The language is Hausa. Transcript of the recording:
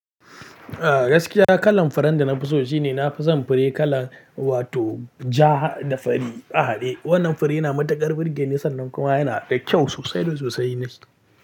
Ah gaskiya kalan furen da na fi so shine na fi son fure kala wato ja ha da fari a haɗe. Wannan fure na matuƙar burge ni sannan kuma yana da kyau sosai da sosai ne.